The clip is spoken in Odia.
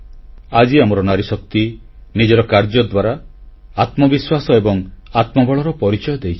ଆଜି ଆମର ନାରୀଶକ୍ତି ନିଜର କାର୍ଯ୍ୟ ଦ୍ୱାରା ଆତ୍ମବିଶ୍ୱାସ ଏବଂ ଆତ୍ମବଳର ପରିଚୟ ଦେଇଛି